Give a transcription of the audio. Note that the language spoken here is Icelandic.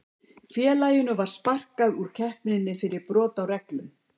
Félaginu var sparkað úr keppninni fyrir brot á reglum.